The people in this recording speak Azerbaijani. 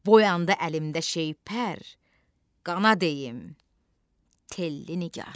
Boyandı əlimdə şeypər, qana deyim Telli Nigar.